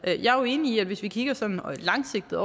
jeg er jo enig i det hvis vi kigger sådan langsigtet